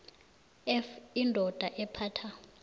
f indoda ephatha